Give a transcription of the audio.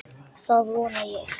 Það vona ég